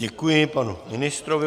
Děkuji panu ministrovi.